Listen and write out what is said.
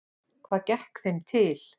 Hvað gekk þeim til?